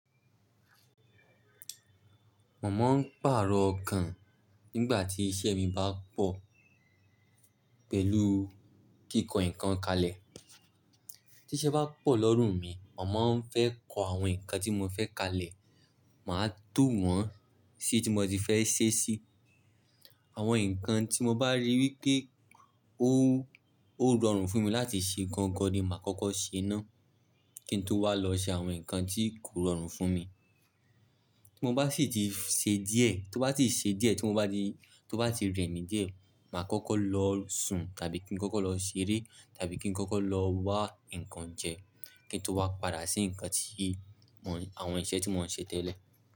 Mo má ń pàrọ̀ ọkàn nígbà tí iṣẹ́ mi bá pọ̀ pẹ̀lú kíkọ́ nǹkan kalẹ̀. Tí iṣẹ́ bá pọ̀ lọ́rùn mi, mo má ń fẹ́ kọ àwọn nǹkan tí mo fẹ́ kalẹ̀. Màá tò wọ́n sí tí mo ti fẹ́ ṣe sí. Àwọn nǹkan tí mo bá rí wí pé ó, ó rọrùn fún mi láti ṣe gangan ni màá kọ́kọ́ ṣe ná. Kí n tó wá lọ ṣe àwọn nǹkan tí kò rọrùn fún mi. Tí mo bá sì ti ṣe díẹ̀, tó bá ti ṣe díẹ̀, tí mo bá di, tó bá ti rẹni díẹ̀, màá kọ́kọ́ lọ sùn tàbí kí n kọ́kọ́ lọ ṣeré tàbí kí n kọ́kọ́ lọ wá nǹkan jẹ. Kí n tó wá padà sí nǹkan tí mò n-- àwọn iṣẹ́ tí mò ń ṣe tẹ́lẹ̀.